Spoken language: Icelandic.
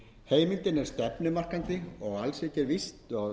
heimildin er stefnumarkandi og alls ekki er víst